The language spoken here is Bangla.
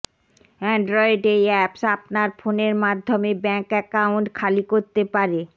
অ্যান্ড্রয়েড এই অ্যাপস আপনার ফোনের মাধ্যমে ব্যাংক অ্যাকাউন্ট খালি করতে পারে